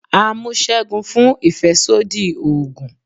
à mú según fún ìfẹsodi oogùn